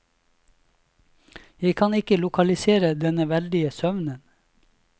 Jeg kan ikke lokalisere denne veldige søvnen.